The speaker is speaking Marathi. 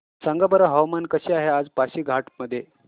सांगा बरं हवामान कसे आहे आज पासीघाट मध्ये